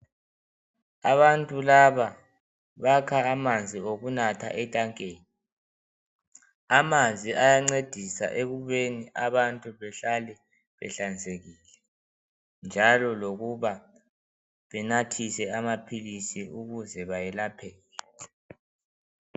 Abantu laba bakha amanzi okunatha etankeni amanzi ayancedisa ekubeni abantu behlale behlanzekile njalo lokuba benathise amaphilisi ukuze bayelapheke.